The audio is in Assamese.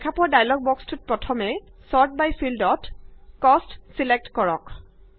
দেখা পোৱা ডায়লগ বক্সটোত প্ৰথমে ছৰ্ট বাই ফিল্ডত কষ্ট ছিলেক্ট কৰক